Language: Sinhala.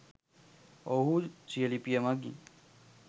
ඔවුහු සිය ලිපිය මගින්